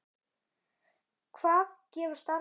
Hvað gefur starfið þér?